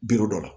Biro dɔ la